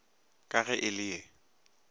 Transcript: ka ge e le ye